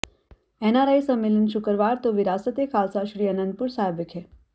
NRI ਸੰਮੇਲਨ ਸ਼ੁੱਕਰਵਾਰ ਤੋਂ ਵਿਰਾਸਤ ਏ ਖਾਲਸਾ ਸ੍ਰੀ ਅਨੰਦਪੁਰ ਸਾਹਿਬ ਵਿਖੇ